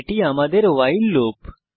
এটি আমাদের while loop